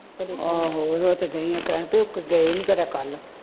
ਆਹੋ ਉਹ ਤੇ ਦਈ ਆ ਕਹਿਣ ਤੇ ਉਹ ਗਏ ਨੇ ਖਰੇ ਕਲ